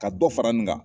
Ka dɔ fara n kan